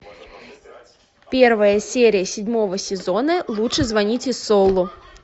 первая серия седьмого сезона лучше звоните солу